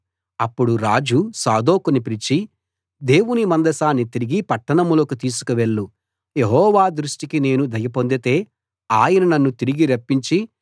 అప్పుడు రాజు సాదోకును పిలిచి దేవుని మందసాన్ని తిరిగి పట్టణంలోకి తీసుకువెళ్ళు యెహోవా దృష్టికి నేను దయ పొందితే ఆయన నన్ను తిరిగి రప్పించి